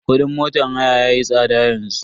Kudin motan haya yayi tsada yanzu.